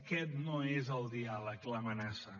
aquest no és el diàleg l’amenaça